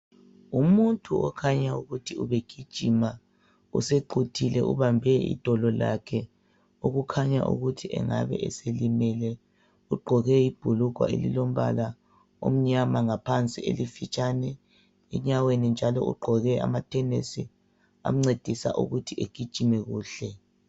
Umuntu okhanya ukuthi ubegijima, usequthile ubambe idolo lakhe okukhanya ukuthi engabe eselimele. Ugqoke ibhulugwe elilombala omnyama ngaphansi elifitshane. Enyaweni njalo ugqoke amathenesi amncedisa ukuthi egijime kuhle.